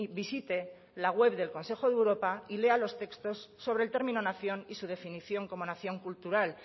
visite la web del consejo de europa y lea los textos sobre el término nación y su definición como nación cultural